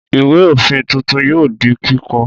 Ìwé-òfin tuntun yóò di kíkọ.